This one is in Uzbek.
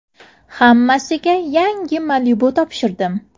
Hammasiga yangi Malibu topshirdim .